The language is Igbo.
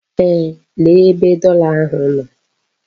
Eeh, lee ebe dollar ahụ nọ.